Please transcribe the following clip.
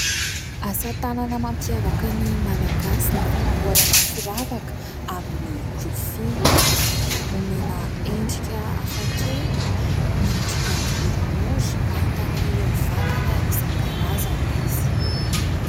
Asa tanana mampiavaka ny Malagasy ny fanamboarana firavaka amin'ny rofia. Omena endrika hafakely, miendrika boribory ahitana ireo vakana isan-karazany izy.